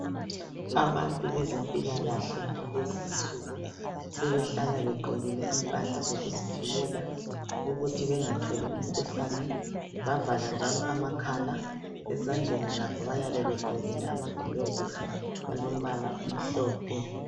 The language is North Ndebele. Abantu bezempilakahle kulezinsuku sebehlala begqokile impahla zokuzivikela ukuthi bengatholi umkhuhlane, bavala njalo amakhala. Ezandleni lakho bayabe begqokile amagilavisi alombala omhlophe.